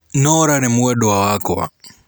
Norah nĩ mwendwa wakwa.